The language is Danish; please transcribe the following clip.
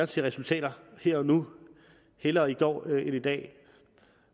se resultater her og nu hellere i går end i dag